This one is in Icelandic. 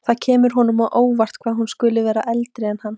Það kemur honum á óvart að hún skuli vera eldri en hann.